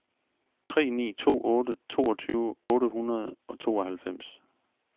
tre ni to otte toogtyve otte hundrede og tooghalvfems